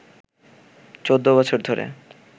১৪ বছর ধরে